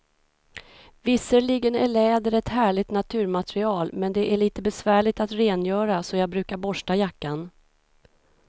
Visserligen är läder ett härligt naturmaterial, men det är lite besvärligt att rengöra, så jag brukar borsta jackan.